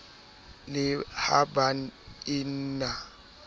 le ha ba e na